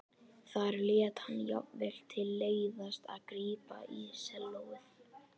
Þar lét hann jafnvel til leiðast að grípa í sellóið.